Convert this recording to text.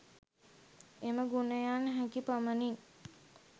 එම ගුණයන් හැකි පමණින්